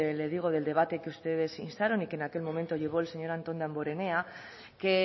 le digo del debate que ustedes instaron y que en aquel momento llevó el señor anton damborenea que